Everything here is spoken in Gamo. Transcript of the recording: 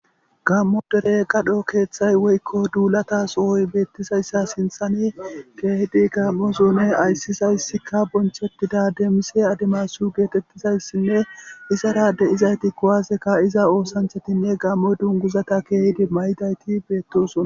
gammo dere gadho keeththay woykko duulata sohoy beettisayssa sinthani keehidi gammo zuune ayssisayssikka bonchettida deemise adimasu geetettizayssinne izara de7izayti kowaaseka iza oosanchatinne gammoy dunguzata keehidi may7idayti beettosona